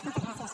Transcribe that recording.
moltes gràcies